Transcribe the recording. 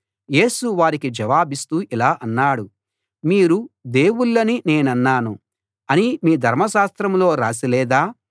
యేసు వారికి జవాబిస్తూ ఇలా అన్నాడు మీరు దేవుళ్ళని నేనన్నాను అని మీ ధర్మశాస్త్రంలో రాసి లేదా